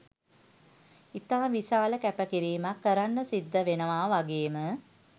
ඉතා විශාල කැපකිරීමක් කරන්න සිද්ද වෙනව වගේම